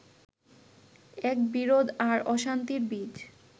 এক বিরোধ আর অশান্তির বীজ